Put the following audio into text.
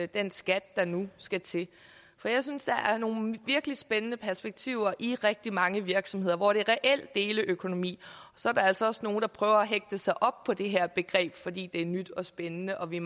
den skat der nu skal til jeg synes der er nogle virkelig spændende perspektiver i rigtig mange virksomheder hvor det er reel deleøkonomi så er der altså også nogle der prøver at hægte sig op på det her begreb fordi det er nyt og spændende og vi